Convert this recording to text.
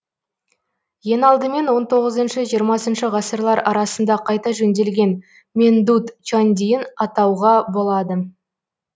ең алдымен он тоғызыншы жиырмасыншы ғасырлар арасында қайта жөнделген мендут чандиын атауға болады